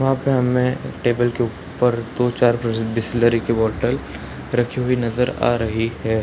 वहां पे हमें टेबल के ऊपर दो चार बिसलेरी की बोतल रखी हुई नजर आ रही है।